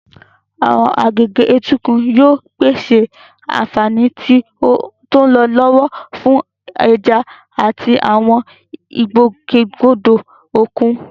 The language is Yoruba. Àwọn agbègbè etíkun yóò pèsè àfààní tí ó ń lọ lọ́wọ́ fún ẹja àti àwọn ìgbòkègbodò òkun.